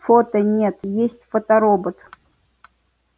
фото нет есть фоторобот